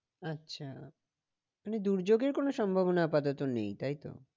আচ্ছা মানে দুর্যোগের কোনো সম্ভবনা আপাতত নেই তাই তো?